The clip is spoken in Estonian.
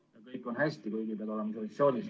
]... kõik on hästi, kuigi pead olema isolatsioonis.